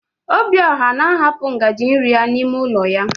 Obiọra na ahapụ ngaji nri ya n'ime ụlọ ya.